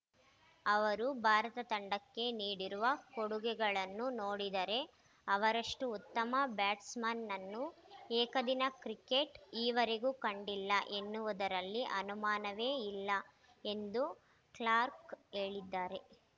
ಅವರು ಭಾರತ ತಂಡಕ್ಕೆ ನೀಡಿರುವ ಕೊಡುಗೆಗಳನ್ನು ನೋಡಿದರೆ ಅವರಷ್ಟುಉತ್ತಮ ಬ್ಯಾಟ್ಸ್‌ಮನ್‌ನನ್ನು ಏಕದಿನ ಕ್ರಿಕೆಟ್‌ ಈವರೆಗೂ ಕಂಡಿಲ್ಲ ಎನ್ನುವುದರಲ್ಲಿ ಅನುಮಾನವೇ ಇಲ್ಲ ಎಂದು ಕ್ಲಾರ್ಕ್ ಹೇಳಿದ್ದಾರೆ